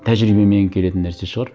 тәжірибемен келетін нәрсе шығар